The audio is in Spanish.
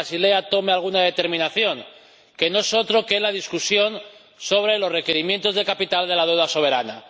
a que Basilea tome alguna determinación—, y que no es otro que la discusión sobre los requerimientos de capital de la deuda soberana.